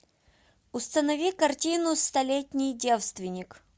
установи картину столетний девственник